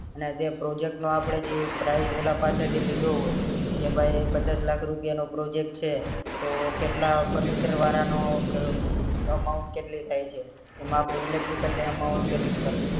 અને જે project નો જી price ઓલા પાસે થી લીધો હોય એ ભય પચાસ લાખ રૂપિયા નો project છે તો કેટલા furniture વારા નો amount કેટલી થાય છે એમાં આપડી electrical amount કેટલી